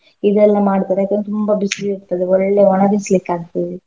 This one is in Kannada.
ಇದೆಲ್ಲ ಮಾಡ್ತಾರೆ ಏಕಂದ್ರೆ ತುಂಬಾ ಬಿಸ್ಲ್ ಇರ್ತದೆ ಒಳ್ಳೇ ಒಣಗಿಸ್ಲಿಕ್ಕೆ ಆಗ್ತದೆ.